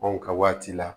Anw ka waati la